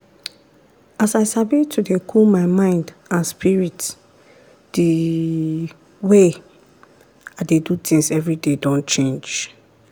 as i sabi to dey cool my mind and spirit d way i dey do tins everyday don change.